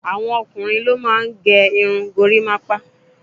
àwọn ọkùnrin ló máà ń gé irun gorimapa